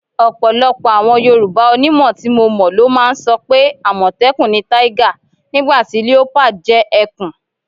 Ò̩pò̩lo̩pò̩ àwo̩n Yorùbá onímò̩ tí mo mò̩ ló máa ń so̩ pé: “àmò̩té̩kùn ni tiger, nígbà tí leopard jé̩ e̩kùn.”